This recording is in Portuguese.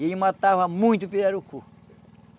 E ele matava muito pirarucu.